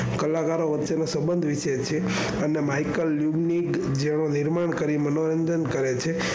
કલાકારો વચ્ચે નો સંબંધ વિશ્વે છે અને micheal, unique જેવો નિર્માણ કરી મનોરંજન કરે છે.